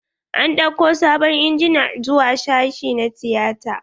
An ɗauko sabon injina zuwa sashi na tiyata.